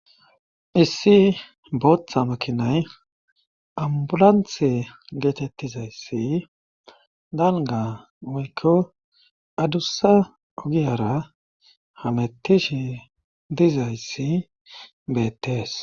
Issi booththa makinay ambulanthe geetettizayssi danga moykko adussa ogiyara hamettishi dizayssi beettees.